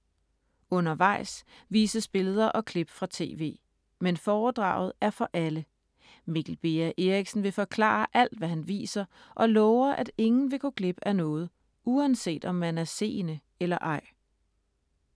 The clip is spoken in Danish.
Undervejs vises billeder og klip fra TV. Men foredraget er for alle: Mikkel Beha Erichsen vil forklare alt hvad han viser og lover, at ingen vil gå glip af noget, uanset om man er seende eller ej.